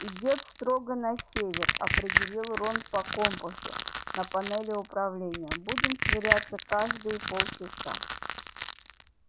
идёт строго на север определил рон по компасу на панели управления будем сверяться каждые полчаса